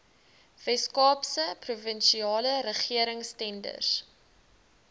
weskaapse provinsiale regeringstenders